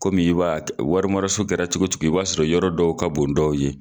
Kɔmi i b'a warimaraso kɛra cogo cogo i b'a sɔrɔ yɔrɔ dɔw ka bon dɔw ye.